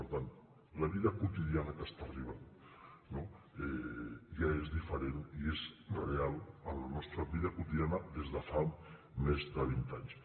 per tant la vida quotidiana que està arribant ja és diferent i és real en la nostra vida quotidiana des de fa més de vint anys